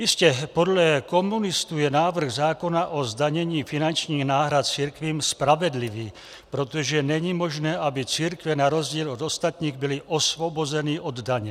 Jistě, podle komunistů je návrh zákona o zdanění finančních náhrad církvím spravedlivý, protože není možné, aby církve na rozdíl od ostatních byly osvobozeny od daně.